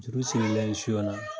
Juru sirilen siyon na